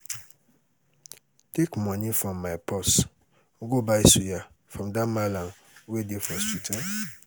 take money from my purse um go buy suya um from dat mallam wey dey for street um